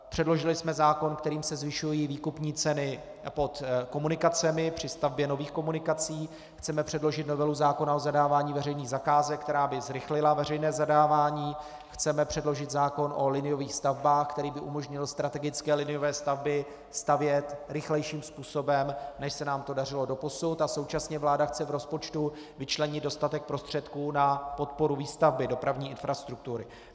Předložili jsme zákon, kterým se zvyšují výkupní ceny pod komunikacemi, při stavbě nových komunikací, chceme předložit novelu zákona o zadávání veřejných zakázek, která by zrychlila veřejné zadávání, chceme předložit zákon o liniových stavbách, který by umožnil strategické liniové stavby stavět rychlejším způsobem, než se nám to dařilo doposud, a současně vláda chce v rozpočtu vyčlenit dostatek prostředků na podporu výstavby dopravní infrastruktury.